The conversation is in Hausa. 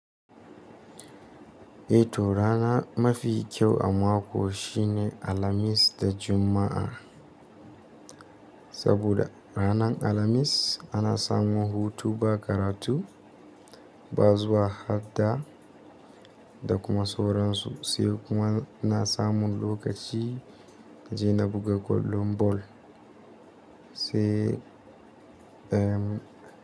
To rana mafi kyau a mako shine Alhamis da Juma'a. Saboda ranar Alhamis ana samun hutu ba karatu, ba zuwa hadda da kuma sauran su. Sai kuma ina samun lokaci naje na buga kwallon bol, sai ehm.